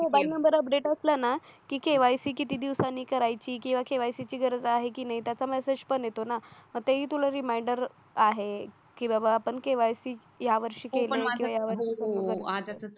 mobile number update असला ना की केवायसी किती दिवसांनी करायची किंवा केवायसी ची गरज आहे की नाही त्याचा मेसेज पण येतो ना आताही तुला रिमाइंडर आहे की बाबा पण केवायसी यावर्षी केले की यावर